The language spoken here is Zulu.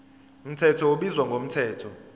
mthetho ubizwa ngomthetho